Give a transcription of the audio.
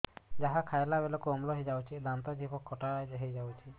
ଯାହା ଖାଇଲା ବେଳକୁ ଅମ୍ଳ ହେଇଯାଉଛି ଦାନ୍ତ ଜିଭ ଖଟା ହେଇଯାଉଛି